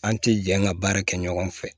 An tɛ jɛ an ka baara kɛ ɲɔgɔn fɛ